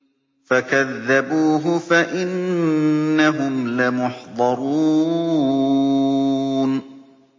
فَكَذَّبُوهُ فَإِنَّهُمْ لَمُحْضَرُونَ